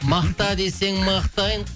мақта десең мақтайын